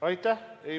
Aitäh!